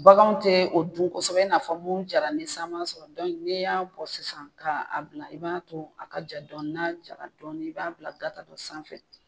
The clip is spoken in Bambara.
Baganw tɛ o dun kosɛbɛ i n'a fɔ mun jara ni san m'a sɔrɔ n'i y'a bɔ sisan kaa a bila i b'a to a ka ja dɔɔni n'a jara i b'a bila gata dɔ sanfɛ.